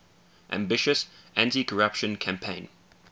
ambitious anticorruption campaign